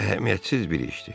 Əhəmiyyətsiz bir işdir.